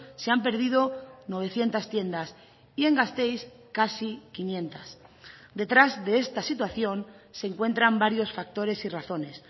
se han perdido novecientos tiendas y en gasteiz casi quinientos detrás de esta situación se encuentran varios factores y razones